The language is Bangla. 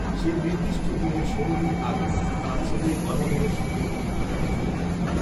সেই নির্দিষ্ট দিনের ষোল দিন আগে, তাঁর ছেলে গদাধরের সঙ্গে তিনি পুরীতে চলে যান